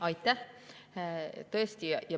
Aitäh!